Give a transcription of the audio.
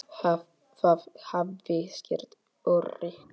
Það hafi skert öryggi.